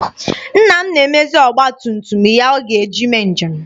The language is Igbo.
Nna m na-emezi ọgba tum tum ya ọ ga-eji mee njem.